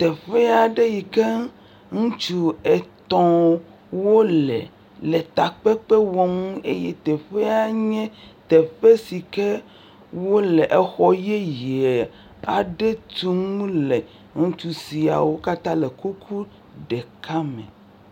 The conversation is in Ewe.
Teƒe aɖe yi ke ŋutsu etɔ̃ wole le takpekpe wɔm eye teƒea nye teƒ si ke wole exɔ yeye aɖe tum le, ŋutsu siawo katã le kuku ɖeka me.